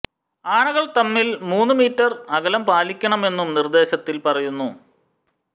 ആനകൾ തമ്മിൽ മൂന്നു മീറ്റർ അകലം പാലിക്കണമെന്നും നിർദ്ദേശത്തിൽ പറയുന്നു